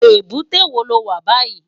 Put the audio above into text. Ébúté wó ló wá bàyí?